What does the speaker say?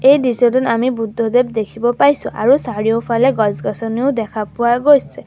এই দৃশ্যটোত আমি বুদ্ধদেৱ দেখিব পাইছোঁ আৰু চাৰিওফালে গছ-গছনিও দেখা পোৱা গৈছে।